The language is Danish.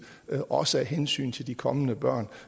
også af hensyn til de kommende børn